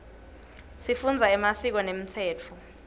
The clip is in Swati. sifundza emasiko nemtsetfo